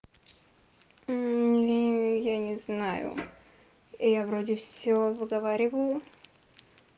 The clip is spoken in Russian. я не знаю я вроде всё выговариваю